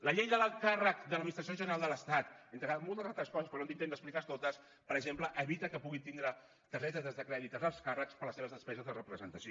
la llei de l’alt càrrec de l’administració general de l’estat entre moltes altres coses perquè no tinc temps d’explicar les totes per exemple evita que puguin tindre targetes de crèdit els alts càrrecs per a les seves despeses de representació